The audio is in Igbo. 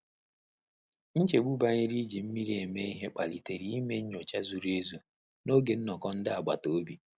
Nchegbu banyere i ji mmiri eme ihe kpalitere i mee nnyocha zuru ezu n'oge nnọkọ nde agbata obi.